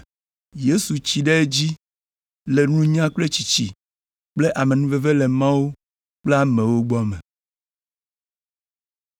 Yesu tsi ɖe edzi le nunya kple tsitsi kple amenuveve le Mawu kple amewo gbɔ me.